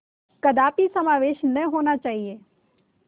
कदापि समावेश न होना चाहिए